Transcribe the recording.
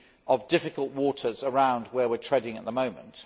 of difficult waters around where we are treading at the moment.